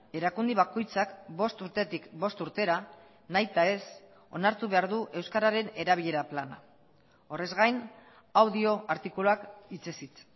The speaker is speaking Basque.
erakunde bakoitzak bost urtetik bost urtera nahitaez onartu behar du euskararen erabilera plana horrez gain hau dio artikuluak hitzez hitz